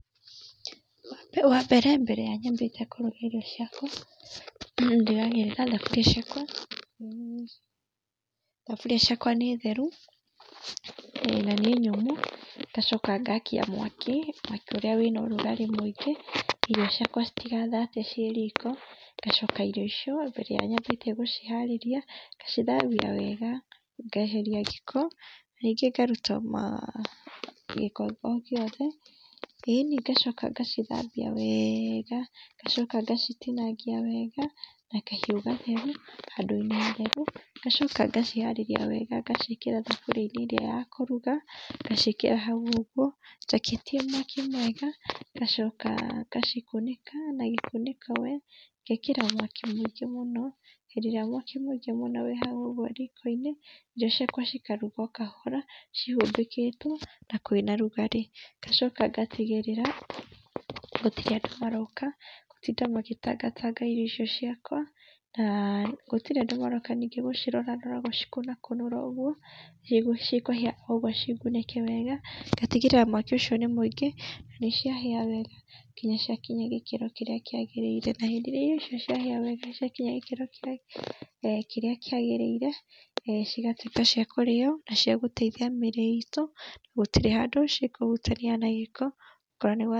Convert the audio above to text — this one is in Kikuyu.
Wa mbere, mbere ya nyambĩte kũrũga irio ciakwa , ndigagĩrĩra thaburia ciakwa nĩ theru na nĩ nyũmũ, ngacoka ngakia mwaki, mwaki ũrĩa wĩna ũrũgarĩ mũingĩ, irio ciakwa citigathate cĩĩ riko, ngacoka irio icio mbere wa nyambĩtie gũciharĩria ngacithambia wega ngeheria gĩko, ningĩ ngaruta gĩko o gĩothe, ĩĩni, ngacoka ngacithambia wega, ngacoka ngacitinangia wega na kahĩu gatheru handũ-inĩ hatheru, ngacoka ngaciharĩria wega ngacĩĩkira thuburia-inĩ ĩrĩa ya kũruga, ngaciĩkira hau ũguo njakĩtie mwaki mwega, ngacoka ngacikunĩka na gĩkunĩko, ngekĩra mwaki mũingĩ mũno hĩndĩ ĩrĩa mwaki mũingĩ wona wĩ haha ũguo riko-inĩ irio ciakwa cikarugwo o kahora cihumbĩkitwo, na kwĩna rugarĩ, ngacoka ngatigĩrĩra gũtirĩ andũ maroka gũtinda magĩtangatanga irio icio ciakwa, na gũtĩri andũ maroka ningĩ gũcirorarora gũcikunakunũra ũguo nĩguo cikũhia ũguo cĩngunĩke wega, ngatigĩrĩra mwaki ucio nĩ mũingĩ nanĩciahia wega nginya ciakinya gĩkĩro kĩrĩa kĩagĩrĩire na hĩndĩ ĩrĩa irio icio ciahĩa wega ciakinya gĩkĩro kĩrĩa kĩagĩrĩire, cigatũika cia kũrĩo na ciagũteithia mĩiri itũ, gũtirĩ handũ cikũhutania na gĩko okorwo...